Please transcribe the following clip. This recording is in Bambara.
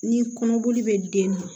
Ni kɔnɔboli bɛ den na